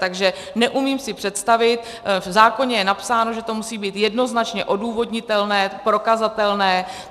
Takže neumím si představit, v zákoně je napsáno, že to musí být jednoznačně odůvodnitelné, prokazatelné.